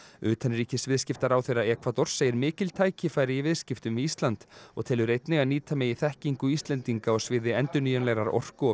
utanríkisviðskiptaráðherra Ekvadors segir mikil tækifæri í viðskiptum við Ísland og telur einnig að nýta megi þekkingu Íslendinga á sviði endurnýjanlegrar orku og